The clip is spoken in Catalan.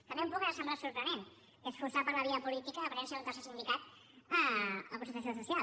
també un punt que ens ha semblat sorprenent que és forçar per la via política la presència d’un tercer sindicat a la concertació social